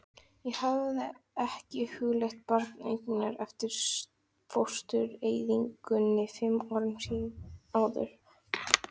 Ég hafði ekki hugleitt barneignir eftir fóstureyðinguna fimm árum áður.